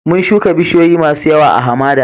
Mun shuka bisiyoyi masun yawa a'hamada.